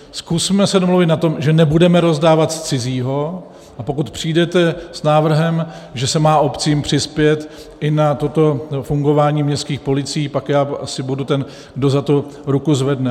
Zkusme se domluvit na tom, že nebudeme rozdávat z cizího, a pokud přijdete s návrhem, že se má obcím přispět i na toto fungování městských policií, pak já asi budu ten, kdo za to ruku zvedne.